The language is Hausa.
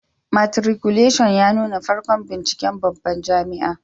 Matriculashin ya nuna farkon binciken babban jami'a